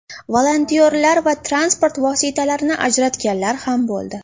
Volontyorlar va transport vositalarini ajratganlar ham bo‘ldi.